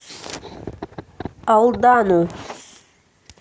алдану